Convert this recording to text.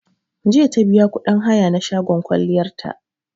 Jiya ta biya kuɗin haya na shagon kwalliyar ta